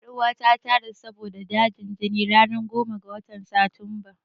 Ƴan uwata ta rasu saboda dajin jini ranar tara ga watan Satumba.